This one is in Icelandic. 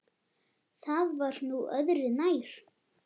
Það var nú öðru nær.